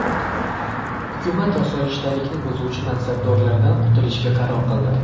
Hukumat osoyishtalikni buzuvchi mansabdordan qutulishga qaror qildi.